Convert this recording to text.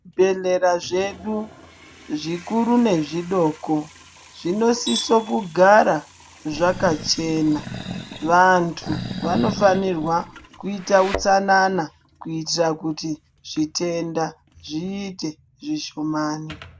Zvibhedhlera zvedu zvikuru nezvidoko zvinosiso kugara zvakachena. Vantu vanofanirwa kuita utsanana kuitira kuti zvitenda zviite zvishomani.